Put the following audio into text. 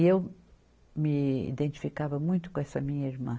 E eu me identificava muito com essa minha irmã.